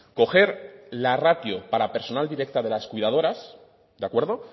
coger la ratio para personal directa de las cuidadoras de acuerdo